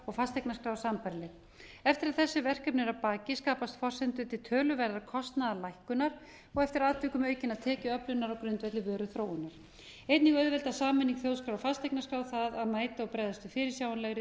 og fasteignaskrár sambærileg eftir að þessi verkefni eru að baki skapast forsendur til töluverðrar kostnaðarlækkunar og eftir atvikum aukinnar tekjuöflunar á grundvelli vöruþróunar einnig auðveldar sameining þjóðskrár og fasteignaskrár það að mæta og bregðast við fyrirsjáanlegri